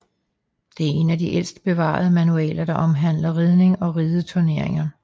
Det er en af de ældste bevarede manualer der omhandler ridning og ridderturnering